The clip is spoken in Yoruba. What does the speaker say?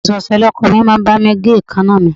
Ọ̀sẹ̀ ọ̀sẹ̀ ni ọkọ mi máa ń bá mi gé èèkánná mi